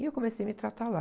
E eu comecei a me tratar lá.